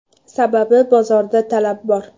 Sababi bozorda talab bor.